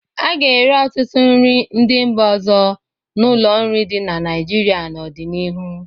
A ga-ere ọtụtụ nri ndị mba ọzọ n'ụlọ nri dị na Naịjirịa n'ọdịnihu.